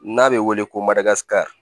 N'a bɛ wele ko